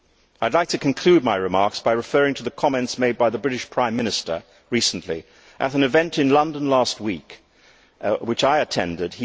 I would like to conclude my remarks by referring to the comments made by the British Prime Minister recently at an event in London last week which I attended.